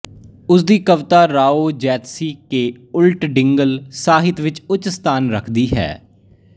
ਉਸ ਦੀ ਕਵਿਤਾ ਰਾਓ ਜੈਤਸੀ ਕੇ ਉਲਟ ਡਿੰਗਲ ਸਾਹਿਤ ਵਿੱਚ ਉੱਚ ਸਥਾਨ ਰੱਖਦੀ ਹੈ